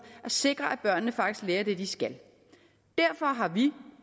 at sikre at børnene faktisk lærer det de skal derfor har vi